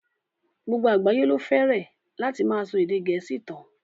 Gbogbo àgbáyé ló fẹ́rẹ̀ láti máa ṣọ èdè gẹ̀ẹ́sì tán.